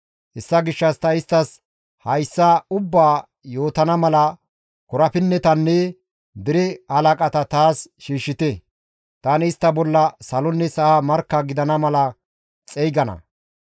Hessa gishshas ta isttas hayssa ubbaa yootana mala korapinnetanne dere halaqata taas shiishshite; tani istta bolla salonne sa7a markka gidana mala xeygana.